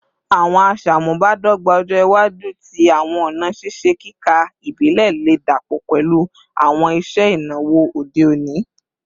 Awọn aṣamubadọgba ọjọ iwaju ti awọn ọna ṣiṣe kika ibile le dapọ pẹlu awọn iṣe inawo ode oni